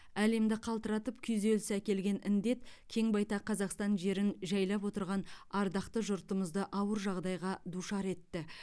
әлемді қалтыратып күйзеліс әкелген індет кең байтақ қазақстан жерін жайлап отырған ардақты жұртымызды ауыр жағдайға душар етті